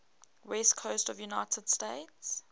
west coast of the united states